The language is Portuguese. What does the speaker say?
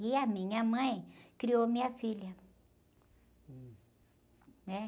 E a minha mãe criou minha filha.um.é?